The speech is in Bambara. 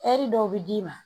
dɔw bɛ d'i ma